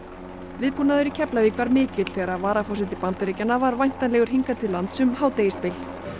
viðbúnaður í Keflavík var mikill þegar varaforseti Bandaríkjanna var væntanlegur hingað til lands um hádegisbil